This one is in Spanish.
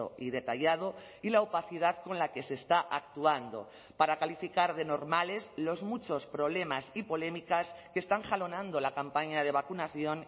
y detallado y la opacidad con la que se está actuando para calificar de normales los muchos problemas y polémicas que están jalonando la campaña de vacunación